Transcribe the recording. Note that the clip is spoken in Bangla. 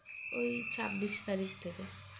ওই ছাব্বিশ তারিখ থেকে